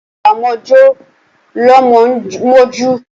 Agba ọmọ jọ́ lọmọ ń mojú.